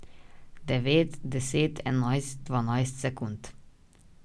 Devet, deset, enajst, dvanajst sekund.